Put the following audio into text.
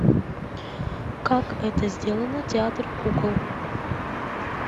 как это сделано театр кукол